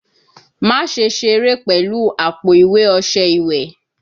Maṣe sere pẹlu apo-iwe ọṣẹ iwẹ?